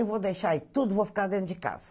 Eu vou deixar aí tudo e vou ficar dentro de casa.